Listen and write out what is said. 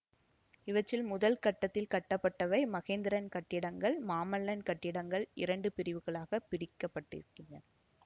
இவற்றுள் முதல் கட்டத்தில் கட்டப்பட்டவை மகேந்திரன் கட்டிடங்கள் மாமல்லன் கட்டிடங்கள் இரண்டு பிரிவுகளாக பிரிக்கப்பட்டிருக்கின்றன